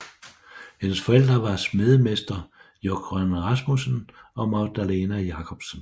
Hendes forældre var smedemester Jógvan Rasmussen og Magdalena Jacobsen